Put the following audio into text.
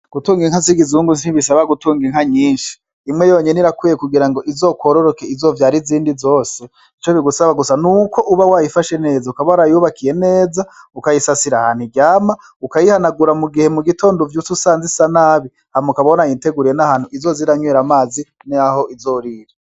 Gutunga inka z'ikizungu sibisaba gutunga inka nyinshi. Imwe yonyene irakwiye kugira ngo izokwororoke, izovyare izindi zose. Ico bigusaba gusa n'uko uba wayifashe neza, ukaba warayubakiye neza, ukayisasira ahantu iryama, ukayihanagura mugihe mu gitondo uvyutse usanga isa nabi. Hanyuma ukaba warayiteguriye n'ahantu izoza iranywera amazi n'aho izorira.